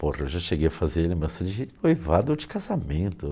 Porra, eu já cheguei a fazer lembrança de noivado de casamento.